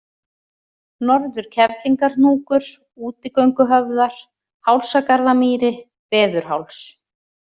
Norður-Kerlingarhnúkur, Útigönguhöfðar, Hálsagarðamýri, Veðurháls